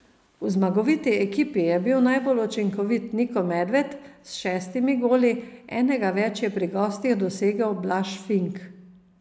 V zmagoviti ekipi je bil najbolj učinkovit Niko Medved s šestimi goli, enega več je pri gostih dosegel Blaž Fink.